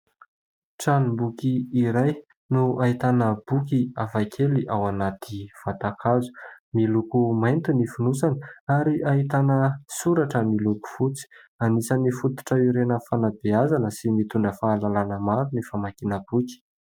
Tranom-boky iray no ahitana boky hafakely ao anaty vatan-kazo, miloko mainty ny fonosany ary ahitana soratra miloko fotsy, anisany fototra ilaina amin'ny fanabeazana sy mitondra fahalalana maro ny famakiana boky.